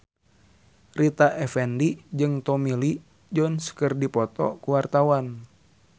Rita Effendy jeung Tommy Lee Jones keur dipoto ku wartawan